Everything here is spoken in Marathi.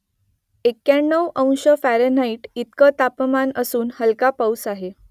एक्याण्णव अंश फॅरनहाईट इतकं तापमान असून हलका पाऊस आहे